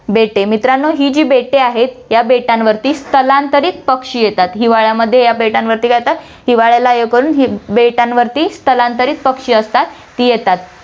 बेटे, मित्रांनो, ही जी बेटे आहेत, या बेटांवरती स्थलांतरित पक्षी येतात, हिवाळ्यामध्ये या बेटांवरती काय येतात, हिवाळ्याला हे करून ही बेटांवरती स्थलांतरित पक्षी असतात, ती येतात.